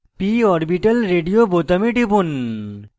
p orbital radio বোতামে টিপুন